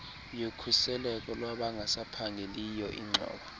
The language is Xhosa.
yokhuseleko lwabangasaphangeliyo ingxowa